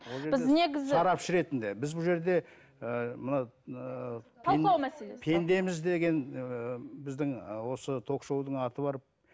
ол жерде біз негізі сарапшы ретінде біз бұл жерде ыыы мына ыыы талқылау мәселесі пендеміз деген ыыы біздің осы ток шоудың аты бар